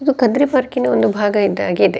ಇದು ಕದ್ರಿ ಪಾರ್ಕ್ ನ ಒಂದು ಭಾಗ ಇದ್ದ ಹಾಗೆ ಇದೆ.